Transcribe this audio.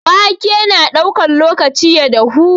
Waƙe na ɗaukan lokaci ya dahu.